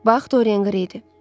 Vaxt öyrənirdi.